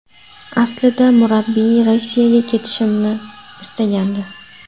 Aslida murabbiy Rossiyaga ketishimni istagandi.